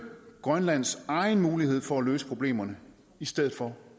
grønlands egen mulighed for at løse problemerne i stedet for